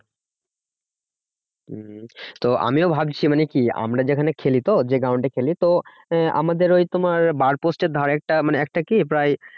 হম হম তো আমিও ভাবছি মানে কি আমরা যেখানে খেলি তো যে ground এ খেলি তো, আমাদের ওই তোমার bar post এর ধারেরটা মানে একটা কি প্রায়